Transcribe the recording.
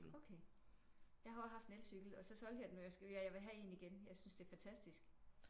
Okay jeg har også haft en elcykel og så solgte jeg den og jeg skal ja jeg vil have en igen jeg synes det er fantastisk